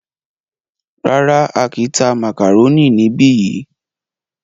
Rárá,á kìí tá màkàrónì níbi yìí.